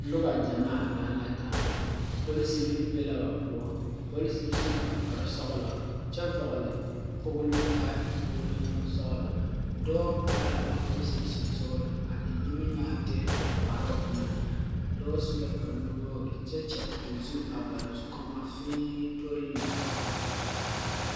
Nuba jamaa lang la taa polisiri be la ba pou polisiri su la kpari sɔglo kye vɔgli kpoglo kaa e kpolo bun sɔglo doɔ arẽ la a polisiri sunsɔring a en niminyaarete ɔ kparoo engan a doɔ su la kpare nu wɔgre kye kyɛ ɔ zu a bare zukomo fiin tol lɛ.